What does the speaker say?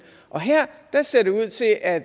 og her ser det ud til at